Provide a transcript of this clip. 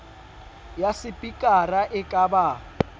ya sepikara e ka ba